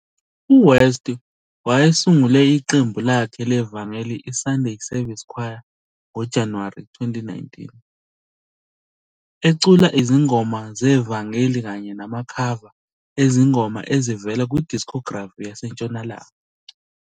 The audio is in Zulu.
U-West wayesungule iqembu lakhe levangeli i - Sunday Service Choir ngoJanuwari 2019, ecula izingoma zevangeli kanye namakhava ezingoma ezivela ku-discography yaseNtshonalanga.